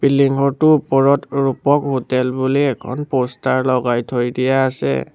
Building ঘৰটোৰ ওপৰত Rupak hotel বুলি এখন প'ষ্টাৰ লগাই থৈ দিয়া আছে।